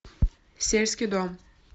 сельский дом